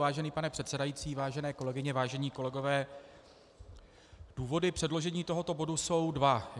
Vážený pane předsedající, vážené kolegyně, vážení kolegové, důvody předložení tohoto bodu jsou dva.